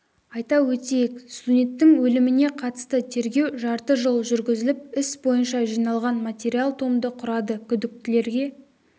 айта өтейік студенттің өліміне қатысты тергеу жарты жыл жүргізіліп іс бойынша жиналған материал томды құрады күдіктілерге